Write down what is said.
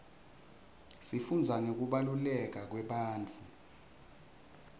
sifundza ngekubaluleka kwebantfu